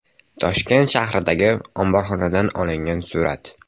Toshkent shahridagi omborxonadan olingan surat.